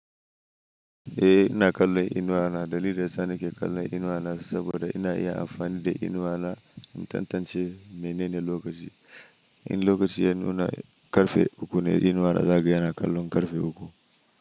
Eh ina kallon inuwa na. Dalilin da sanake kallon inuwa na saboda ina iya amfani da inuwa na in tantance menene lokaci. In lokaci ya nuna ƙarfe uku na inuwa na zai gaya ina kallon karfe uku.